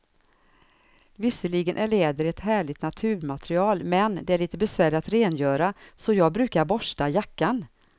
Visserligen är läder ett härligt naturmaterial, men det är lite besvärligt att rengöra, så jag brukar borsta jackan.